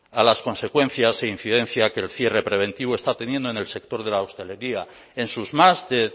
a las consecuencias e incidencia que el cierre preventivo está teniendo en el sector de la hostelería en sus más de